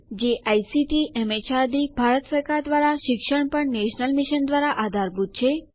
જે ICT MHRD Bharat સરકાર દ્વારા શિક્ષણ પર નેશનલ મિશન દ્વારા આધારભૂત છે